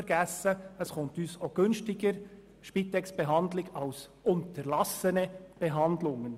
Spitexbehandlungen kommen uns auch günstiger zu stehen als unterlassene Behandlungen.